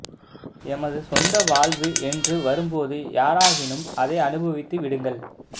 எமது சொந்த வாழ்வு என்று வரும்போது யாராகினும் அதை அனுபவித்து விடுங்கள்